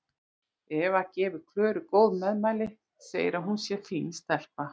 Eva gefur Klöru góð meðmæli, segir að hún sé fín stelpa.